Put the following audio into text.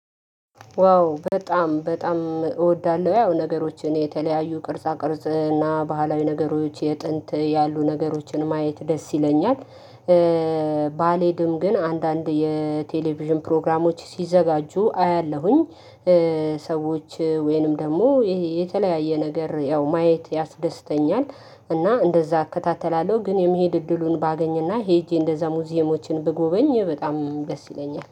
ዋው በጣም በጣም እወዳለሁ ያው ነገሮችን የተለያዩ ቅርጻ ቅርጽ እና ባህላዊ ነገሮች የጥንት ያሉ ነገሮችን ማየት ደስ ይለኛል። ባሌድም ግን አንዳንድ የቴሌቪዥን ፕሮግራሞች ሲዘጋጁ አያለሁኝ። ሰዎች ወይንም ደግሞ ይሄ የተለያየ ነገር ያው ማየት ያስደስተኛል። እና እንደዛ አከታተላለሁ ግን የሚሄድ እድሉን ባገኝና ሄጄ እንደዛ ሙዚየሞችን ብጎበኝ በጣም ደስ ይለኛል